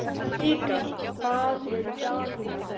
Hnikar, hvað er í dagatalinu í dag?